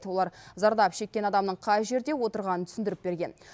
олар зардап шеккен адамның қай жерде отырғанын түсіндіріп берген